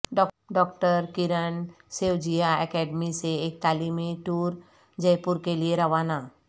doctor Kiran سیوجیااکیڈمی سے ایک تعلیمی ٹور جے پور کے لئے روانہ